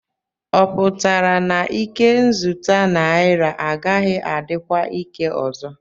Ọ pụtara na ikenzụta naira agaghị adịkwa ike ọzọ?